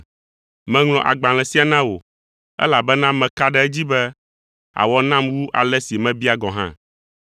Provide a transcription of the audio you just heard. Meŋlɔ agbalẽ sia na wò, elabena meka ɖe edzi be àwɔ nam wu ale si mebia gɔ̃ hã!